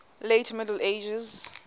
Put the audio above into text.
late middle ages